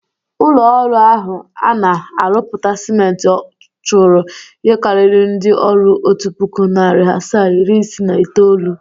Ụlọ ọrụ ahụ a na-arụpụta siment chụrụ ihe karịrị ndị ọrụ otu pụkụ, nari asaa, iri isii na itoolu.